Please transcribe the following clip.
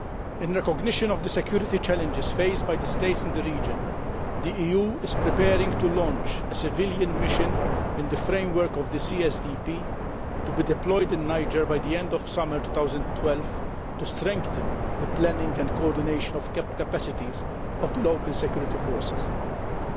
In recognition of the security challenges faced by the state in the region, the EU is preparing to launch a civilian mission in the framework of the CSDP, to be deployed in Niger by the end of summer 2012, to strengthen the planning and coordination of local security forces' capacities.